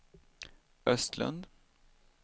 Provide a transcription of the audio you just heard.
Östlund